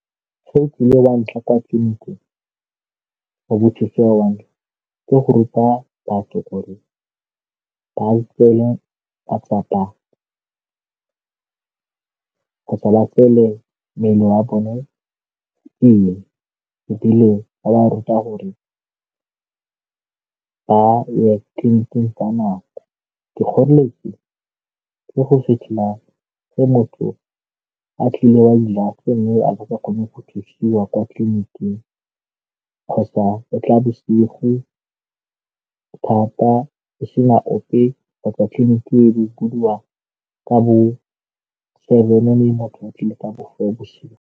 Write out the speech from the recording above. Se e kileng ke go ruta batho gore ba tseele matsapa kgotsa ba tseele mmele wa bone pele ebile ba ruta gore ba ye tleliniking ka nako. Dikgoreletsi ka go fitlhela fa motho a tlile wa le ene a kgone go thusiwa kwa tleliniking kgotsa o tla bosigo thata e sena ope kgotsa tleliniki e bodiwa ka bo seven le motho a tlile ka .